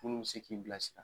Munnu bi se k'i bilasira.